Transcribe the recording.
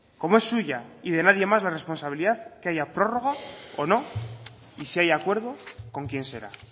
como es suya y de nadie más la responsabilidad que haya prórroga o no y si hay acuerdo con quién será